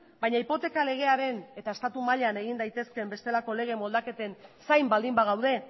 baina hipoteka legearen eta estatu mailan egin daitezkeen bestelako lege moldaketen zain baldin bagaude